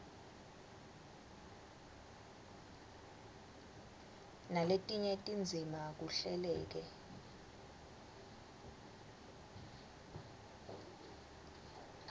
naletinye tindzima kuhleleke